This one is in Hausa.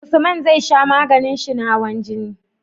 Usman zai sha maganin shi na hawan jini